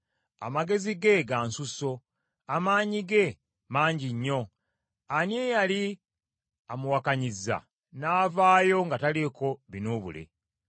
Amagezi ge ga nsusso, amaanyi ge mangi nnyo; ani eyali amuwakanyizza n’avaayo nga taliiko binuubule?